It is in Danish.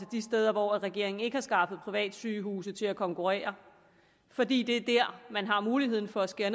de steder hvor regeringen ikke har skaffet privatsygehuse til at konkurrere fordi det er her man har muligheden for at skære